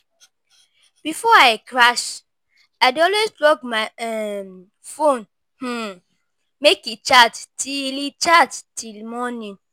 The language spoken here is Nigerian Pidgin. Before I crash, I dey always plug my um phone um make e charge till e charge till morning.